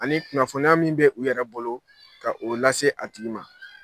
Ani kunnafoniya min bɛ u yɛrɛ bolo ka o lase a tigi ma.